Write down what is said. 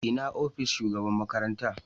Ina ofishin shugaban makaranta?